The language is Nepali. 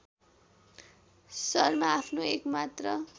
शर्मा आफ्नो एकमात्र